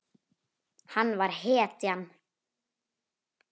Hann var hetjan.